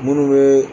Munnu be